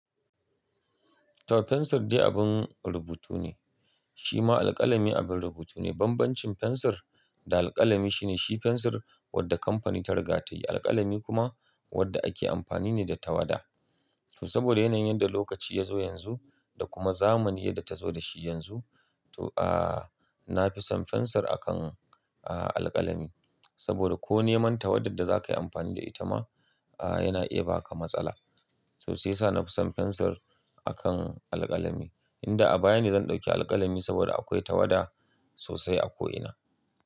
To fensir dai abin rubutu ne, shi ma alƙalami abin rubutu ne. Banbancin fensir da alƙalami shi ne, shi fensir wadda kamfani ta riga ta yi, alƙalami kuma wadda ake amfani ne da tawada. To saboda yanayin yanda lokaci ya zo yanzu da kuma zamani yadda ta zo da shi yanzu, to, ah, na fi son fensir akan, ah, alƙalami. Saboda ko neman tawadar da za ka yi amfani da ita ma, ah, yana iya baka matsala. To shi yasa na fi son fensir akan alƙalami. Inda a baya ne zan ɗauki alƙalami saboda akwai tawada sosai a ko ina.